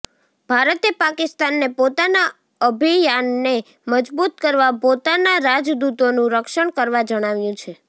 ભારતે પાકિસ્તાનને પોતાના અભિયાનને મજબૂત કરવા પોતાના રાજદૂતોનું રક્ષણ કરવા જણાવ્યું છે